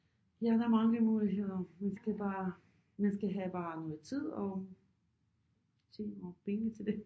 Ja der er mange muligheder man skal bare man skal have bare noget tid og tid og penge til det